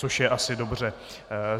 Což je asi dobře.